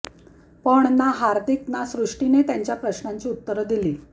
पण ना हार्दिक ना सृष्टीने त्यांच्या प्रश्नांची उत्तरं दिली